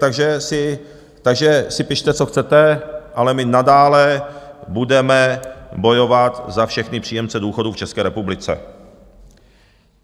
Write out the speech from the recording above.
Takže si pište, co chcete, ale my nadále budeme bojovat za všechny příjemce důchodů v České republice.